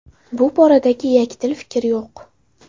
Bu boradagi yakdil fikr yo‘q.